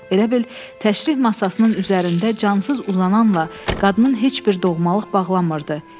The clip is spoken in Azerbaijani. Elə bil təşrih masasının üzərində cansız uzananla qadının heç bir doğmalıq bağlamırdı.